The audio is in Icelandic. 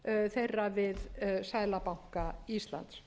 þeirra við seðlabanka íslands